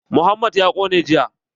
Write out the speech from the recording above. Mohammad ya ƙone jiya.